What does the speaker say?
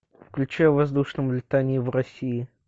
включи о воздушном летании в россии